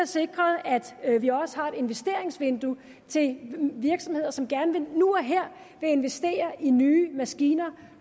sikret at vi har et investeringsvindue til virksomheder som nu og her vil investere i nye maskiner